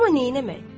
Amma neynəmək?